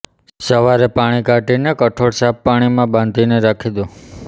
સવારે પાણી કાઢીને કઠોળ સાફ પાણીમાં બાંધીને રાખી દો